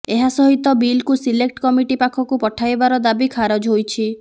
ଏହା ସହିତ ବିଲକୁ ସିଲେକ୍ଟ କମିଟି ପାଖକୁ ପଠାଇବାର ଦାବି ଖାରଜ ହୋଇଛି